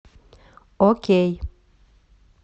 окей